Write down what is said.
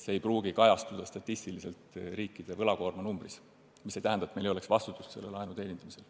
See ei pruugi kajastuda statistiliselt riikide võlakoorma numbris, mis aga ei tähenda, et meil poleks vastutust selle laenu teenindamisel.